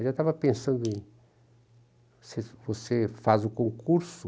Eu já estava pensando em, se você faz o concurso,